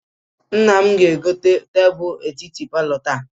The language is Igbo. Nna m ga-egote tebulu etiti palọ taa.